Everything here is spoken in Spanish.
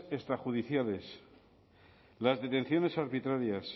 extrajudiciales las detenciones arbitrarias